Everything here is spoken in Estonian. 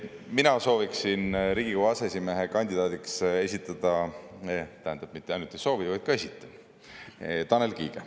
Mina sooviksin Riigikogu aseesimehe kandidaadiks esitada – tähendab, mitte ainult ei soovi, vaid ka esitan – Tanel Kiige.